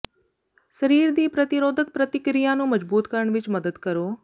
ਸਰੀਰ ਦੀ ਪ੍ਰਤੀਰੋਧਕ ਪ੍ਰਤੀਕਿਰਿਆ ਨੂੰ ਮਜਬੂਤ ਕਰਨ ਵਿੱਚ ਮਦਦ ਕਰੋ